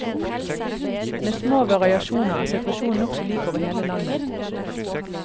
Med små variasjoner er situasjonen nokså lik over hele landet.